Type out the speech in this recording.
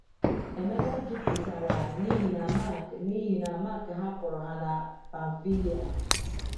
Emeka jụpụtara n’ihi na Mark n’ihi na Mark hapụrụ ha na Pamfília.